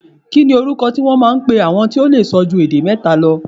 Kí ni orúkọ tí wón máa ń pe àwọn tó lè sọ ju èdè mẹ́ta lọ?